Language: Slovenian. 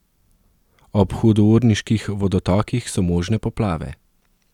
Ob hudourniških vodotokih so možne poplave.